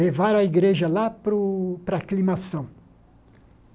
Levaram a igreja lá para o para a climação.